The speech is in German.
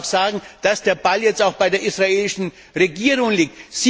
dann muss man auch sagen, dass der Ball jetzt bei der israelischen Regierung liegt.